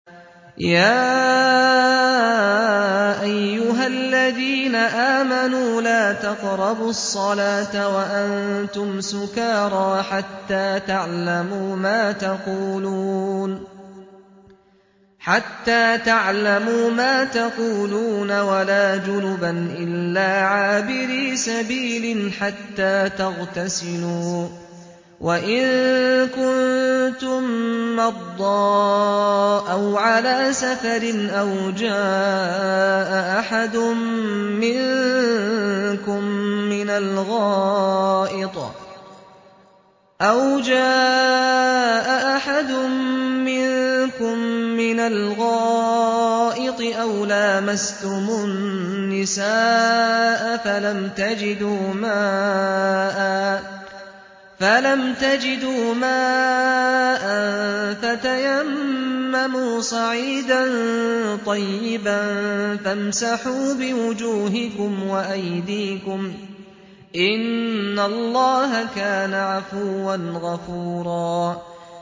يَا أَيُّهَا الَّذِينَ آمَنُوا لَا تَقْرَبُوا الصَّلَاةَ وَأَنتُمْ سُكَارَىٰ حَتَّىٰ تَعْلَمُوا مَا تَقُولُونَ وَلَا جُنُبًا إِلَّا عَابِرِي سَبِيلٍ حَتَّىٰ تَغْتَسِلُوا ۚ وَإِن كُنتُم مَّرْضَىٰ أَوْ عَلَىٰ سَفَرٍ أَوْ جَاءَ أَحَدٌ مِّنكُم مِّنَ الْغَائِطِ أَوْ لَامَسْتُمُ النِّسَاءَ فَلَمْ تَجِدُوا مَاءً فَتَيَمَّمُوا صَعِيدًا طَيِّبًا فَامْسَحُوا بِوُجُوهِكُمْ وَأَيْدِيكُمْ ۗ إِنَّ اللَّهَ كَانَ عَفُوًّا غَفُورًا